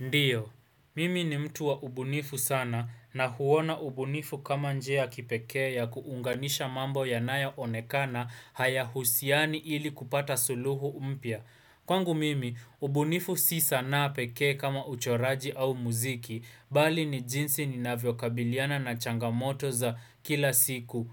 Ndiyo, mimi ni mtu wa ubunifu sana na huona ubunifu kama njia ya kipekee ya kuunganisha mambo yanayoonekana hayahusiani ili kupata suluhu mpya. Kwangu mimi, ubunifu si sanaa peke kama uchoraji au mziki, bali ni jinsi ninavyokabiliana na changamoto za kila siku.